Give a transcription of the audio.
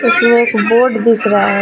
इसमें एक बोर्ड दिख रहा है.